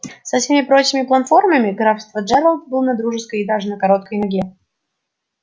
со всеми прочими плантаторами графства джералд был на дружеской и даже на короткой ноге